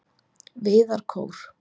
Viðarkór